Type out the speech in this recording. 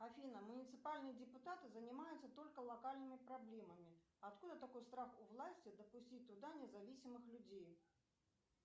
афина муниципальные депутаты занимаются только локальными проблемами откуда такой страх у власти допустить туда независимых людей